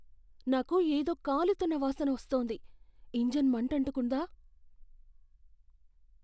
నాకు ఏదో కాలుతున్న వాసన వస్తోంది. ఇంజిన్ మంటంటుకుందా?